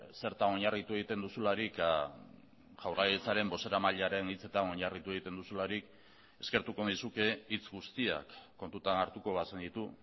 zertan oinarritu egiten duzularik jaurlaritzaren bozeramailearen hitzetan oinarritu egiten duzularik eskertuko nizuke hitz guztiak kontutan hartuko bazenitu